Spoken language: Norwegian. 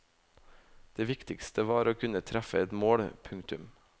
Det viktigste var å kunne treffe et mål. punktum